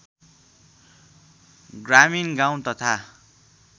ग्रामीण गाउँ तथा